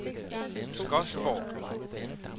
Skodsborg